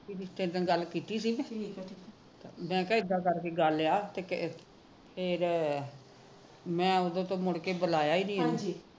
ਗੱਲ ਕੀਤੀ ਸੀ ਕਿਸੇ ਨੇ ਮੈ ਕਿਹਾ ਇਦਾ ਕਰਕੇ ਗੱਲ ਹੈ ਫੇਰ ਮੈ ਉਹ ਦਿਨ ਤੋ ਮੁੜਕੇ ਬੁਲਾਇਆ ਨਹੀ